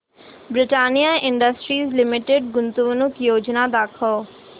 Britannia Industries Limited गुंतवणूक योजना दाखव